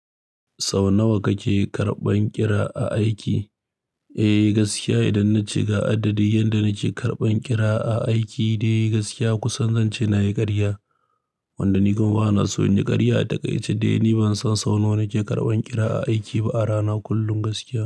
Sau nawa kake karɓan ƙira a aiki? Eh gaskiya idan na ce ga adadin yan da nake karɓan ƙira a aiki dai gaskiya kusan zan ce na yi ƙarya. Wanda ni kuma bana so in ji ƙarya a takaice dai ni ban san sau nawa nake karɓan ƙira a aiki ba a rana kullum gaskiya.